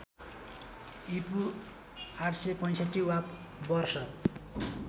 ईपू ८६५ वा वर्ष